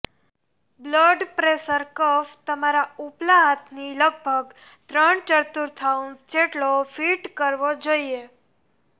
blood pressure cuff તમારા ઉપલા હાથની લગભગ ત્રણ ચતુર્થાંશ જેટલો ફિટ કરવો જોઇએ